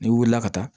N'i wulila ka taa